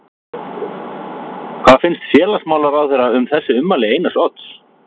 Hvað finnst félagsmálaráðherra um þessi ummæli Einars Odds?